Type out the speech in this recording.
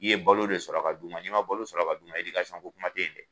I ye balo de sɔrɔ ka d'u ma n'i ma balo sɔrɔ ka d'u ma edikasɔn ko kuma te ye